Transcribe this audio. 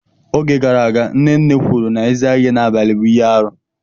Oge gara aga nne nne kwuru na ịza ihe n'abalị bụ ihe aru.